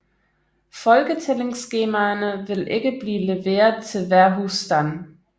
Folketællingsskemaerne vil ikke blive leveret til hver husstand